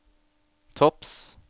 topps